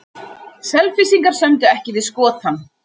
Selfyssingar sömdu ekki við Skotann